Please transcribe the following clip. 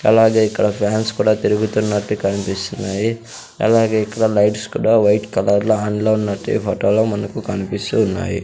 అలాగే ఇక్కడ ఫ్యాన్స్ కుడా తిరుగుతున్నట్టు కనిపిస్తున్నాయి అలాగే ఇక్కడ లైట్స్ కుడా వైట్ కలర్ లో ఆన్ లో ఉన్నట్టు ఈ ఫొటో లో మనకు కనిపిస్తూ ఉన్నాయి.